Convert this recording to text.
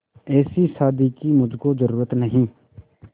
ऐसी शादी की मुझको जरूरत नहीं